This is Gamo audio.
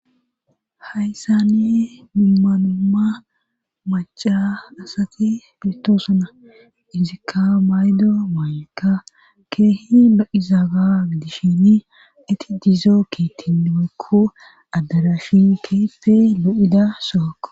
Haysan duma duma maca asati betosona